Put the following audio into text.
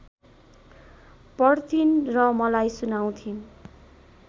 पढ्थिन् र मलाई सुनाउँथिन्